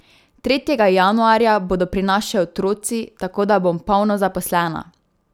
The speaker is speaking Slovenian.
Tretjega januarja bodo pri nas še otroci, tako da bom polno zaposlena.